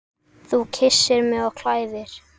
Þú kyssir mig og klæðir.